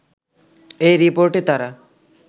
এই রিপোর্টে তারা